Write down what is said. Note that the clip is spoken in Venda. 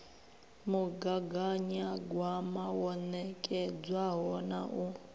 mugaganyagwama wo nekedzwaho na u